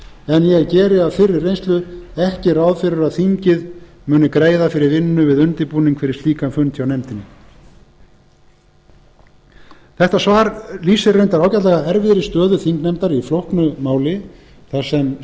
en ég geri af fyrri reynslu ekki ráð fyrir að þingið muni greiða fyrir vinnu við undirbúning fyrir slíkan fund hjá nefndinni þetta svar lýsir reyndar ágætlega erfiðri stöðu þingnefndar í flóknu máli þar sem